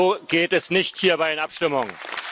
So geht es nicht hier bei den Abstimmungen.